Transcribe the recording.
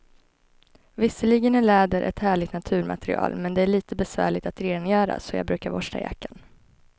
Visserligen är läder ett härligt naturmaterial, men det är lite besvärligt att rengöra, så jag brukar borsta jackan.